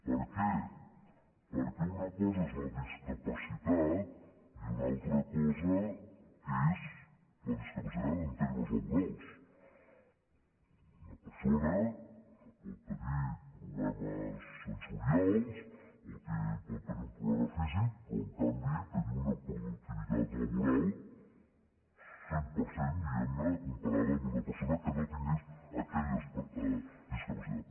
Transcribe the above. per què perquè una cosa és la discapacitat i una altra cosa és la discapacitat en termes laborals una persona pot tenir problemes sensorials o pot tenir un problema físic però en canvi tenir una productivitat laboral del cent per cent diguem·ne comparada amb una persona que no tingués aquella discapacitat